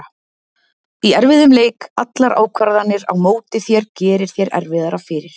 Í erfiðum leik, allar ákvarðanir á móti þér gerir þér erfiðara fyrir.